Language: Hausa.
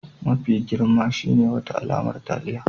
Mafi girma shine wata alamar taliya